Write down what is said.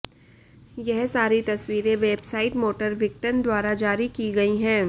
यह सारी तस्वीरें वेबसाइट मोटर विकटन द्वारा जारी की गई है